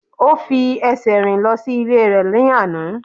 O fi ẹsẹ̀ rìn lọ sí ilé rẹ̀ ní àná.